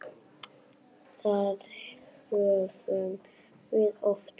Það höfum við oft gert.